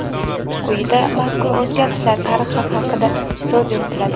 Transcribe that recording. Quyida mazkur o‘zgarishlar tarixi haqida so‘z yuritiladi.